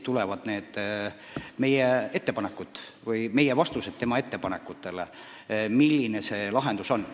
Ja selles on kirjas meie ettepanekud, milline võiks olla lahendus.